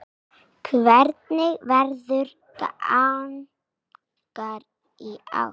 Hvernig verður gangan í ár?